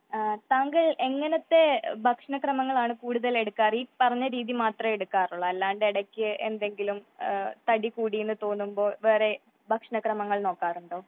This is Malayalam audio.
താങ്കൾ എങ്ങനെത്തെ ഭക്ഷണ ക്രമങ്ങള്‍ ആണ് കൂടുതൽ എടുക്കാറ് ഈ പറഞ്ഞ രീതി മാത്രേ എടുക്കാറുള്ളു അല്ലാതെ എടെക്ക് തടി കൂടി എന്ന തോന്നുമ്പോൾ വേറെ ഭക്ഷണ ക്രമങ്ങൾ നോക്കാറുണ്ടോ ?